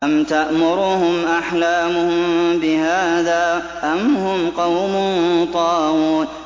أَمْ تَأْمُرُهُمْ أَحْلَامُهُم بِهَٰذَا ۚ أَمْ هُمْ قَوْمٌ طَاغُونَ